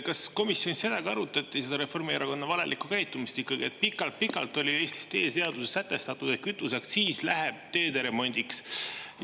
Kas komisjonis arutati seda Reformierakonna valelikku käitumist ikkagi, et pikalt-pikalt oli Eestis teeseaduses sätestatud, et kütuseaktsiis läheb teede remondiks?